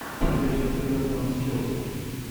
встреча эвертона с челси